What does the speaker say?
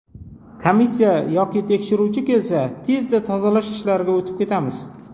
Komissiya yoki tekshiruvchi kelsa, tezda tozalash ishlariga o‘tib ketamiz.